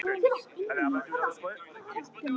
Góða nótt, amma.